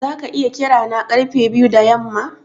Zaka iya kira na karfe biyu da yamma?